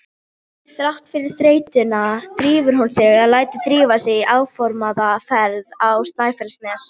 Þrátt fyrir þreytuna drífur hún sig eða lætur drífa sig í áformaða ferð á Snæfellsnes.